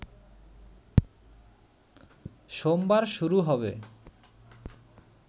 সোমবার শুরু হবে